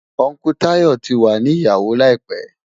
Ùncle Tayọ̀ tí wà ní ìyàwó láìpẹ̀.